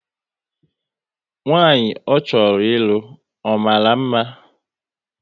Nwanyị ọ chọrọ ịlụ, ọ mara mma?